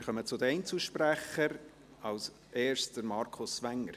Wir kommen zu den Einzelsprechern, als erster Markus Wenger.